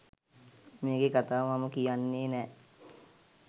මේකෙ කතාව මම කියන්නෙ නෑ